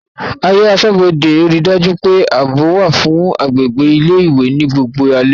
Ààyè aṣọ́bodè rí dájú pé ààbò wà fún agbègbè ilé ìwé ní gbogbo alẹ́